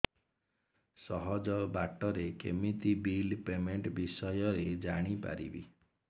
ସହଜ ବାଟ ରେ କେମିତି ବିଲ୍ ପେମେଣ୍ଟ ବିଷୟ ରେ ଜାଣି ପାରିବି